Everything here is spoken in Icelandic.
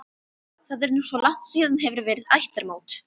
Það er nú svo langt síðan hefur verið ættarmót.